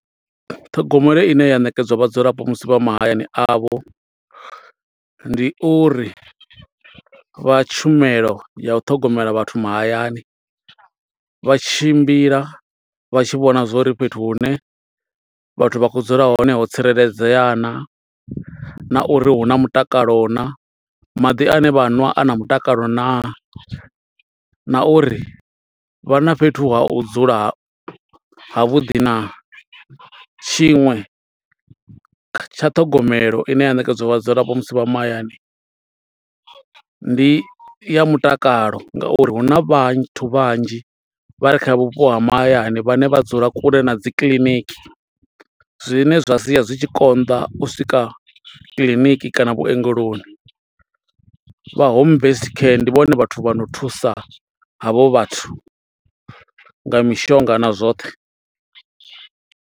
Ṱhogomelo ine ya ṋekedzwa vhadzulapo musi vha mahayani avho, ndi uri vha tshumelo ya u ṱhogomela vhathu mahayani, vha tshimbila vha tshi vhona zwo uri fhethu hune vhathu vha khou dzula hone ho tsireledzea naa. Na uri hu na mutakalo naa, maḓi ane vha a nwa a na mutakalo naa, na uri vha na fhethu ha u dzula ha vhuḓi naa. Tshiṅwe tsha ṱhogomelo ine ya ṋekedzwa vhadzulapo musi vha mahayani, ndi ya mutakalo nga uri huna vhathu vhanzhi vha re kha vhupo ha mahayani, vhane vha dzula kule na dzi kiḽiniki. Zwine zwa sia zwi tshi konḓa u swika kiḽiniki, kana vhuongeloni. Vha Home Based Care, ndi vhone vhathu vha no thusa havho vhathu, nga mishonga na zwoṱhe.